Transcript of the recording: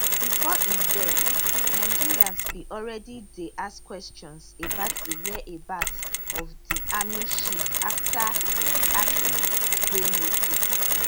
bifor im death nigerians bin already dey ask questions about di whereabouts of di army chief afta im absence dey noticed